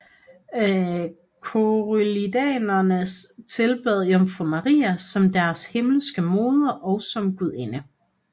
Collyridianere tilbad Jomfru Maria som deres himmelske moder og som gudinde